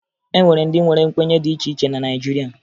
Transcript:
E nwere ndị nwere nkwenye dị iche iche na Naịjirịa